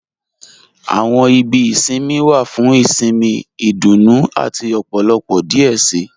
Àwọn ìbí ìṣinmí wa fún ìṣinmí, ìdúnú àti ọ̀pọ̀lọpọ̀ díẹ̀ sí.